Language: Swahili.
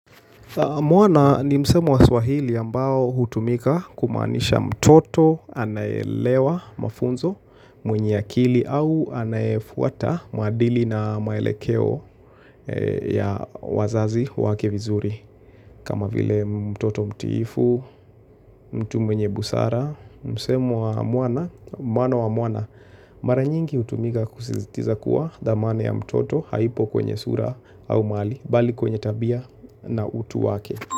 Mwana ni msemo wa swahili ambao hutumika kumaanisha mtoto anayeelewa mafunzo mwenye akili au anayefuata maadili na maelekeo ya wazazi wake vizuri. Kama vile mtoto mtiifu, mtu mwenye busara, msemwa mwana, mwana wa mwana, mara nyingi hutumika kusizitiza kuwa thamane ya mtoto haipo kwenye sura au mali, bali kwenye tabia na utu wake.